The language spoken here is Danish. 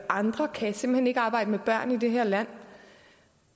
andre kan simpelt hen ikke arbejde med børn i det her land